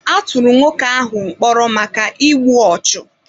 A tụrụ nwoke ahụ mkpọrọ maka igbu ọchụ.